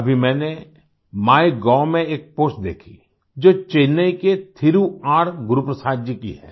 अभी मैंने माइगोव में एक पोस्ट देखी जो चेन्नई के थिरु आरगुरुप्रसाद जी की है